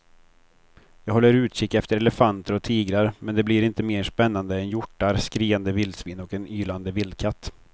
Jag håller utkik efter elefanter och tigrar men det blir inte mer spännande än hjortar, skriande vildsvin och en ylande vildkatt.